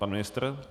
Pan ministr?